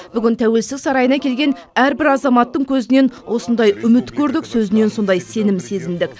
бүгін тәуелсіздік сарайына келген әрбір азаматтың көзінен осындай үміт көрдік сөзінен сондай сенім сезіндік